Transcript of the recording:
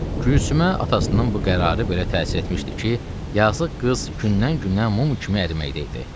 Gülsümə atasının bu qərarı belə təsir etmişdi ki, yazıq qız gündən-günə mum kimi əriməkdə idi.